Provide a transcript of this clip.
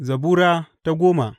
Zabura Sura goma